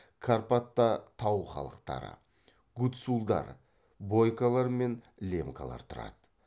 карпатта тау халықтары гуцулдар бойкалар мен лемкалар тұрады